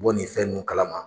bɔ nin fɛn nun kalama.